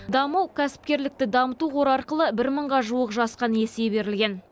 даму кәсіпкерлікті дамыту қоры арқылы бір мыңға жуық жасқа несие берілген